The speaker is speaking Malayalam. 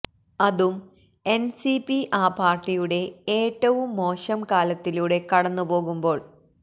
അതും എൻസിപി ആ പാർട്ടിയുടെ ഏറ്റവും മോശം കാലത്തിലൂടെ കടന്നുപോകുമ്പോൾ